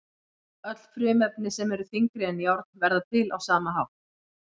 Öll frumefni sem eru þyngri en járn verða til á sama hátt.